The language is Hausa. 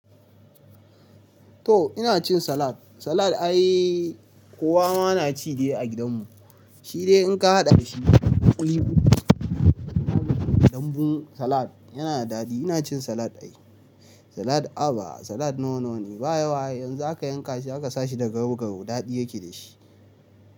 To ina cin salad, salad ai kowa ma na ci dai a gidan mu, shi dai in ka haɗa da shi ɗanbun salad yana da daɗi. Ina cin salad ai, salad aba salad nawa-nawa ne, ba yawa ai idan zaka yanka shi aka sa shi da garau-garau daɗi yake da shi.